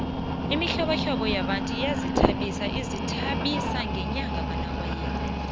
imihlobohlobo yabantu iyazithabisa ezithabiseni ngonobayeni